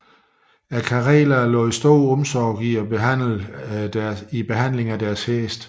Karelerne lagde stor omsorg i behandlingen af deres heste